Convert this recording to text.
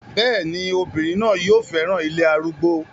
bẹ́ẹ̀ni, obìnrin náà yóò fẹ́ràn ilé arúgbó